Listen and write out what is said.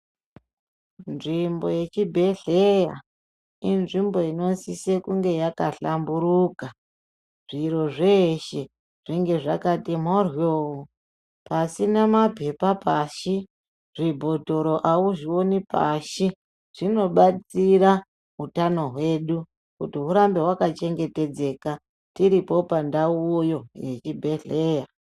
Nzvimbo yechibhedhleya inzvimbo inosisa kunge yakahlamburuka. Zviro zveshe zvinge zvakati mhoryo pasina maphepha pashi zvibhotoro auzvioni pashi zvinobatsira utano hwedu kuti hunge hwakachengetedzeka tiripo pandauyo yechibhedhleya.